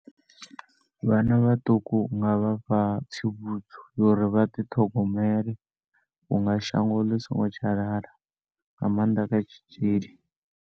Vhanna vhaṱuku unga vha fha tsivhudzo yori vha ḓiṱhogomele unga shango ḽi singo tsha lala nga maanḓa kha tshitzhili.